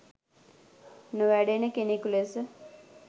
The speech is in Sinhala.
නොවැඩෙන කෙනෙකු ලෙස